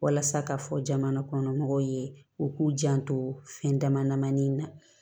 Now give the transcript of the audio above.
Walasa ka fɔ jamana kɔnɔmɔgɔw ye u k'u janto fɛn dama damanin na